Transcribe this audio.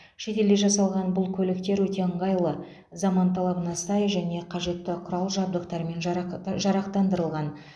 шетелде жасалған бұл көліктер өте ыңғайлы заман талабына сай және қажетті құрал жабдықтармен жарақа жарақтандырылған